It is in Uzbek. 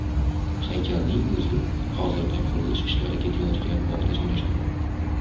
Haykalning o‘zi hozirda qurilish ishlari ketayotgan bog‘da joylashadi.